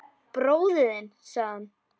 Bróðir þinn sagði hann.